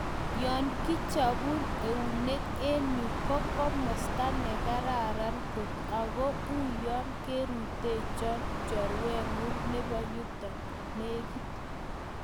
Yokichopuu euneek eng yuu ko komastaa nekararan koot ago uyoo kerutochii chorwenguung neboo yuto legiit